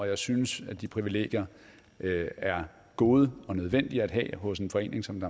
jeg synes at de privilegier er gode og nødvendige at have hos en forening som